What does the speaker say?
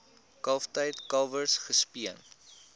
kalftyd kalwers gespeen